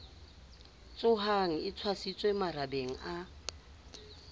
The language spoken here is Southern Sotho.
tshohang e tshwasitswe marabeng a